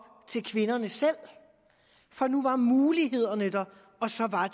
til kvinderne selv for nu var mulighederne der og så var